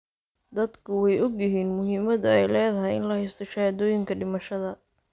Dadku way ogyihiin muhiimadda ay leedahay in la haysto shahaadooyinka dhimashada.